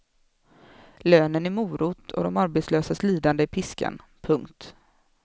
Lönen är morot och de arbetslösas lidande är piskan. punkt